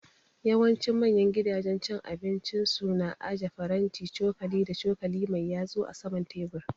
Yawancin manya gidajen cin abinci su na aje faranti, cokali da cokali mai yatsu a saman tebur